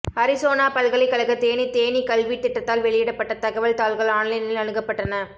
Arizona பல்கலைகழக தேனி தேனீ கல்வி திட்டத்தால் வெளியிடப்பட்ட தகவல் தாள்கள் ஆன்லைனில் அணுகப்பட்டன